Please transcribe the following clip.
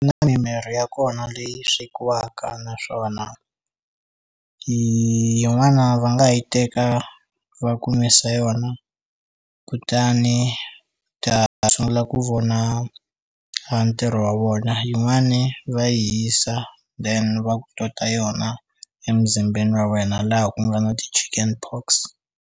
Na mimirhi ya kona leyi swekiwaka naswona yin'wana va nga yi teka va ku nwisa yona kutani ta sungula ku vona a ntirho wa vona yin'wani va yi hisa then va ku tota yona emzimbeni wa wena laha ku nga na ti-Chickenpox.